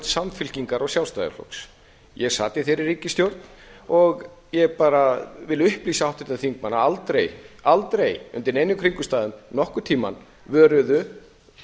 samfylkingar og sjálfstæðisflokks ég sat í þeirri ríkisstjórn og ég vil upplýsa háttvirtan þingmann að aldrei undir neinum kringumstæðum nokkurn tíma vöruðu